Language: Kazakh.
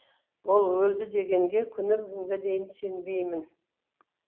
ол өлді дегенге күні бүгінге дейін сенбеймін